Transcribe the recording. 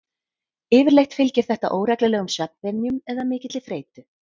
Yfirleitt fylgir þetta óreglulegum svefnvenjum eða mikilli þreytu.